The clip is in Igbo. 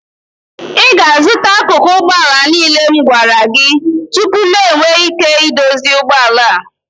ị ga-azụta akụkụ ụgbọ ala niile m gwara gị tupu m enwee ike idozi ụgbọ ala a